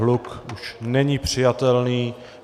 Hluk už není přijatelný.